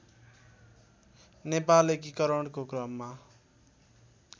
नेपाल एकीकरणको क्रममा